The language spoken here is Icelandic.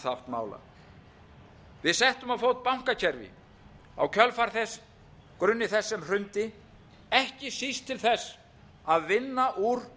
mála við settum á fót bankakerfi á grunni sem hrundi ekki síst til þess að vinna úr